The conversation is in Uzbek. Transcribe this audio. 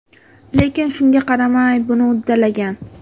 Lekin shunga qaramay, buni uddalagan.